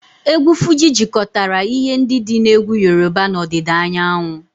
Egwu Fuji jikọtara ihe ndị dị na egwu Yoruba na ọdịda anyanwụ